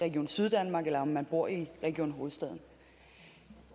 region syddanmark eller om man bor i region hovedstaden